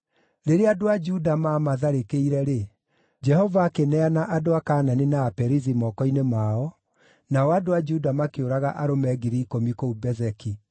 Rĩrĩa andũ a Juda maamatharĩkĩire-rĩ, Jehova akĩneana andũ a Kaanani na Aperizi moko-inĩ mao, nao andũ a Juda makĩũraga arũme 10,000 kũu Bezeki.